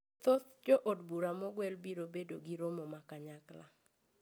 Thoth jo od bura mogwel biro bedo gi romo ma kanyakla